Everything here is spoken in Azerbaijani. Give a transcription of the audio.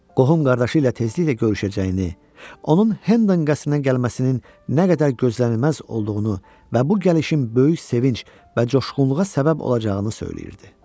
Qohum qardaşı ilə tezliklə görüşəcəyini, onun Hendon qəsrinə gəlməsinin nə qədər gözlənilməz olduğunu və bu gəlişin böyük sevinc və coşqunluğa səbəb olacağını söyləyirdi.